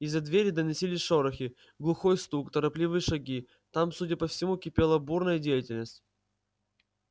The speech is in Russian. из-за двери доносились шорохи глухой стук торопливые шаги там судя по всему кипела бурная деятельность